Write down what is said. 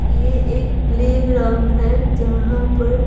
ये एक प्लेग्राउंड है जहां पर--